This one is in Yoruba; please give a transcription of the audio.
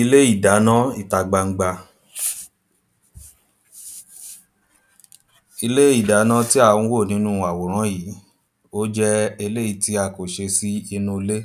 Ilé ìdáná ìta gbangba. Ilé ìdáná tí à ń wò nínú àwòrán yìí ó jẹ́ eléèyí tí a kò ṣe sínú ilé